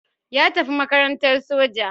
Ya tafi makarantar soja